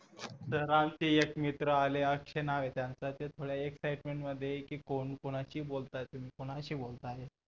तर आमचे एक मित्र आले आणि अक्षय नावे त्यांचं ते थोड्या excitement मध्ये कोण कोणाशी बोलताय तुम्ही कोणाशी बोलता आहे